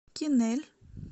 кинель